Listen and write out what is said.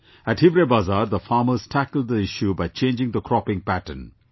At Hivrebazaar the farmers tackled the issue by changing the cropping pattern